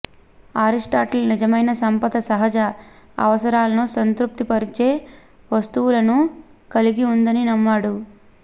Aristotle నిజమైన సంపద సహజ అవసరాలను సంతృప్తిపరిచే వస్తువులను కలిగి ఉందని నమ్మాడు